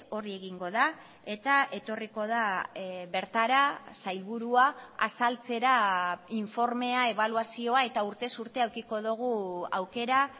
hori egingo da eta etorriko da bertara sailburua azaltzera informea ebaluazioa eta urtez urte edukiko dugu aukera